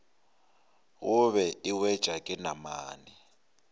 gobe e wetšwa ke namane